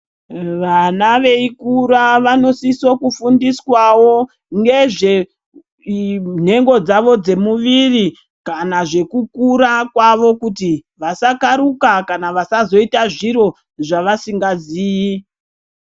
Vana veikura vanosisa kufundiswawo ngezve nhengo dzavo dzomuwiri kana zvokukura kwavo kuti vasakaruka kana vasazoita zviro zvavasingazii.